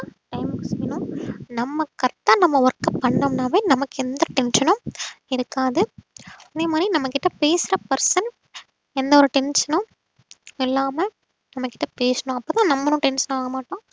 time க்கு செய்யணும் நம்ம correct ஆ நம்ம work பண்ணோம்னாவே நமக்கு எந்த tension உம் இருக்காது அதே மாதிரி நம்ம கிட்ட பேசற person எந்த ஒரு tension னும் இல்லாம நம்ம கிட்ட பேசணும் அப்பதான் நம்மளும் tension ஆக மாட்டோம்